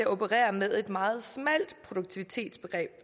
operere med et meget smalt produktivitetsbegreb